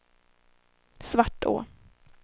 Svartå